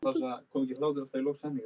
Fylgir þessu strekkingur eða vindur?